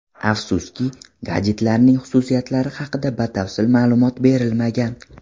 Afsuski, gadjetlarning xususiyatlari haqida batafsil ma’lumot berilmagan.